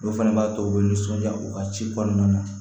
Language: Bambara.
O fana b'a to u bɛ nisɔndiya u ka ci kɔnɔna na